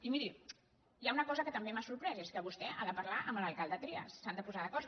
i miri hi ha una cosa que també m’ha sorprès i és que vostè ha de parlar amb l’alcalde trias s’han de posar d’acord